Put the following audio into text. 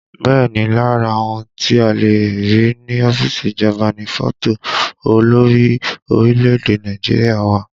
Bẹ́ẹ̀ ni, lára ohun tí a le rí ní ọ́fíìsì ìjọba ni fọ́tò olórí orílẹ̀èdè Nàìjíríà wà